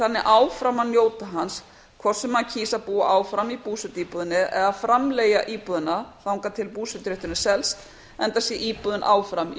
þannig áfram að njóta hans hvort sem hann kýs að búa áfram í búsetuíbúðinni eða framleigja íbúðina þangað til búseturétturinn selst enda sé íbúðin áfram í